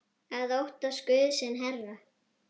að óttast Guð sinn herra.